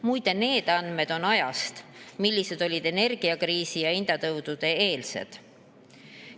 Muide, need andmed on energiakriisi ja hinnatõusude eelsest ajast.